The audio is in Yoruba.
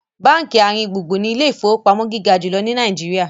bánkì aringbungbun ní Ilé ìfowópamọ́ gíga jùlọ ní Nàìjíríà.